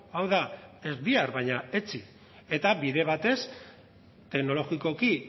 hau da ez bihar baina etzi eta bide batez teknologikoki